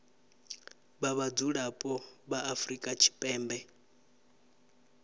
vha vhadzulapo vha afrika tshipembe